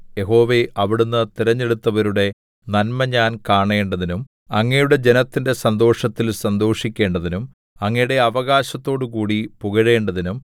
യഹോവേ അവിടുന്ന് തിരഞ്ഞെടുത്തവരുടെ നന്മ ഞാൻ കാണേണ്ടതിനും അങ്ങയുടെ ജനത്തിന്റെ സന്തോഷത്തിൽ സന്തോഷിക്കേണ്ടതിനും അങ്ങയുടെ അവകാശത്തോടുകൂടി പുകഴേണ്ടതിനും